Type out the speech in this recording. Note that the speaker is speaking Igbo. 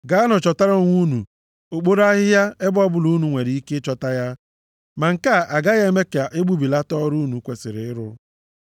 Gaanụ chọtara onwe unu okporo ahịhịa ebe ọbụla unu nwere ike ịchọta ya, ma nke a agaghị eme ka e gbubilata ọrụ unu kwesiri ịrụ.’ ”